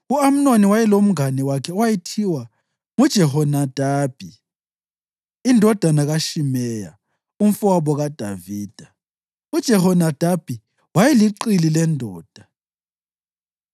U-Amnoni wayelomngane wakhe owayethiwa nguJehonadabi indodana kaShimeya, umfowabo kaDavida. UJehonadabi wayeliqili lendoda.